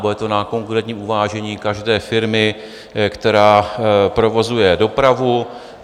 Bude to na konkrétním uvážení každé firmy, která provozuje dopravu.